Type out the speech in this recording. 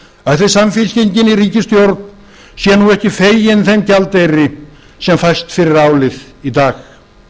stóriðnað ætli samfylkingin í ríkisstjórn sé nú ekki fegin þeim gjaldeyri sem fæst fyrir álið í dag